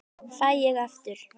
Fæ ég aftur?